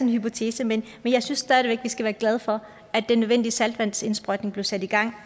hypotese men jeg synes stadig væk at vi skal være glade for at den nødvendige saltvandsindsprøjtning blev sat i gang